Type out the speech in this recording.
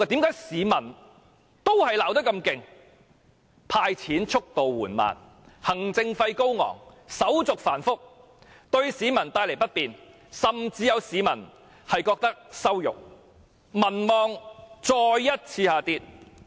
這是因為"派錢"速度緩慢、行政費高昂、手續繁複，對市民帶來不便，甚至有市民感到羞辱。